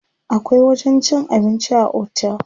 Akwai wajen cin abinci a otel.